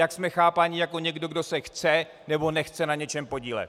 Jak jsme chápáni jako někdo, kdo se chce, nebo nechce na něčem podílet.